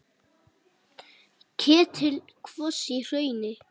Ketill kvos í hrauni.